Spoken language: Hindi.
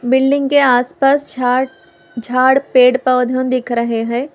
बिल्डिंग के आसपास झाड़ झाड़ पेड़ पौधों दिख रहे हैं।